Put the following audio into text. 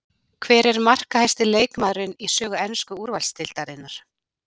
Hver er markahæsti leikmaðurinn í sögu ensku úrvalsdeildarinnar?